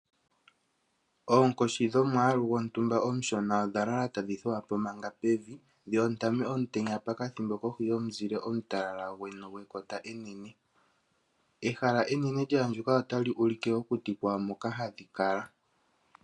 Oonkoshi dhomwaalu gwontumba omushona odha lala tadhi thuwa po manga pevi. Dhi ondame omutenya pokathimbo kohi yomusile gwekota enene. Ehala enene lya andjuka otali ulike okuti kwawo moka hadhi kala.